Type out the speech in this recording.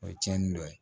O ye cɛnni dɔ ye